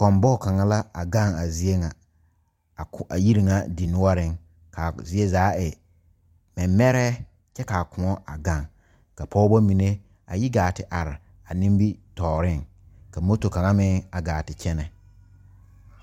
Kɔmbɔge kaŋa la a gaŋ a zie ŋa a ko a yiri ŋa dinoɔreŋ k,a zie zaa e mɛmɛrɛɛ kyɛ k,a koɔ a gaŋ ka pɔgeba mine a yi gaa te are a nimitɔɔreŋ ka moto kaŋa meŋ a gaa te kyɛnɛ.